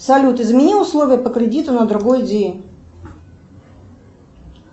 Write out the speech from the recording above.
салют измени условия по кредиту на другой день